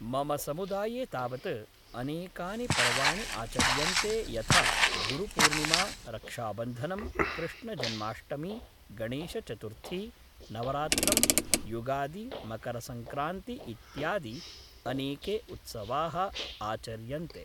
मम समुदाये तावत् अनेकानि पर्वाणि आचर्यन्ते यथा गुरुपूर्णिमा रक्षाबन्धनं कृष्णजन्माष्टमी गणेशचतुर्थी नवरात्रं युगादि मकरसङ्क्रान्ति इत्यादि अनेके उत्सवाः आचर्यन्ते